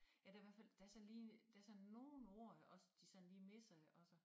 Ja der i hvert fald der sådan lige der sådan nogen ord også de sådan lige misser også